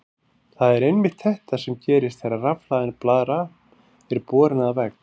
Það er einmitt þetta sem gerist þegar rafhlaðin blaðra er borin að vegg.